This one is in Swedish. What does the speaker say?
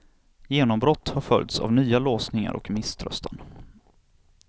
Genombrott har följts av nya låsningar och misströstan.